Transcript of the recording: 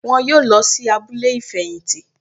Wọn yóò lọ sí abúlé ìfẹ̀yìntì